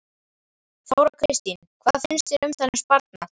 Þóra Kristín: Hvað finnst þér um þennan sparnað?